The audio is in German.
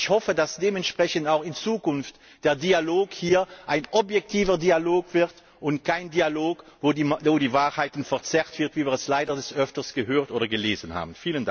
Ich hoffe, dass dementsprechend auch in Zukunft der Dialog hier ein objektiver Dialog wird und kein Dialog, bei dem die Wahrheit verzerrt wird, wie wir es leider des Öfteren gehört oder gelesen haben.